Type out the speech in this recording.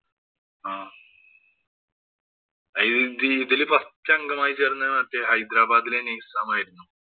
ആഹ് ഇതില് first അംഗമായി ചേര്‍ന്നത് ഹൈദരാബാദിലെ നിസാമായിരുന്നു.